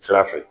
Sira fɛ